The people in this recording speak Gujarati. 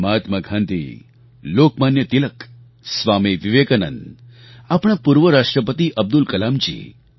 મહાત્મા ગાંધી લોકમાન્ય તિલક સ્વામી વિવેકાનંદ આપણા પૂર્વ રાષ્ટ્રપતિ અબ્દુલ કલામજી